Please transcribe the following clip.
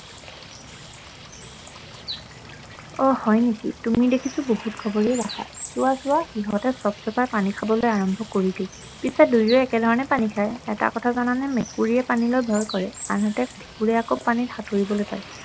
অ হয় নেকি তুমি দেখিছো বহুত খবৰেই ৰাখা চোৱা চোৱা সিহঁতে চপ চপাই পানী খাবলৈ আৰম্ভ কৰিলেই পিছে দুয়োৱে একে ধৰণে পানী খায় অ এটা কথা জানানে মেকুৰীয়ে পানীলৈ ভয় কৰে আনহাতে কুকুৰে আক পানীত সাঁতুৰিব পাৰে